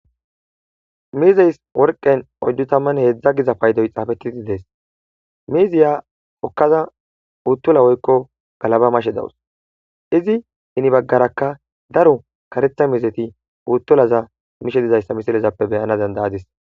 Mizzes worqay oyddu tamanne heeza gizza payddoy xafetidi dees mizziya hokkada butulla woykko gallaba mashe daws izzi henebagarra daro karetha mizzaykka butulazza mishe dizzayssa misiletappe bayanas dadayadis.